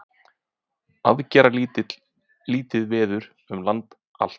Aðgerðalítið veður um land allt